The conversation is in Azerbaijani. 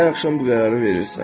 Hər axşam bu qərarı verirsən.